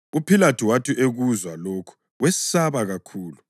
UPhilathu wathi ekuzwa lokhu wesaba kakhulu,